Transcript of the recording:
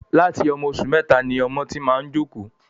Láti ọmọ oṣù mẹta ni ọmọ ti máa ń jókòó